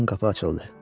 Ön qapı açıldı.